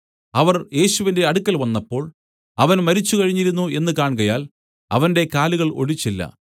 അവർ യേശുവിന്റെ അടുക്കൽ വന്നപ്പോൾ അവൻ മരിച്ചുകഴിഞ്ഞിരുന്നു എന്നു കാൺകയാൽ അവന്റെ കാലുകൾ ഒടിച്ചില്ല